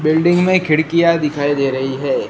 Building में खिड़कियां दिखाई दे रही है।